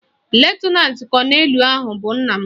Lutenantị kọnelụ ahụ bụ nna m